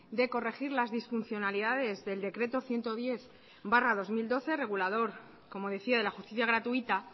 de corregir las disfuncionalidades del decreto ciento diez barra dos mil doce regulador como decía de la justicia gratuita